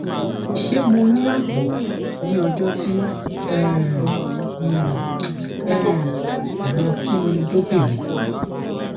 ṣe mo ni aabo ni ọjọ ti um n um ko lo kinniilobirin